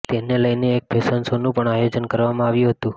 તેને લઈને એક ફેશન શોનું પણ આયોજન કરવામાં આવ્યું હતું